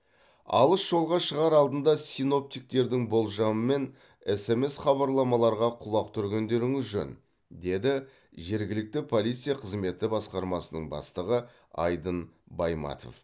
алыс жолға шығар алдында синоптиктердің болжамы мен смс хабарламаларға құлақ түргендеріңіз жөн деді жергілікті полиция қызметі басқармасының бастығы айдын байматов